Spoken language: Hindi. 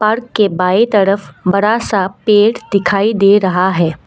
घर के बाएं तरफ बड़ा सा पेड़ दिखाई दे रहा है।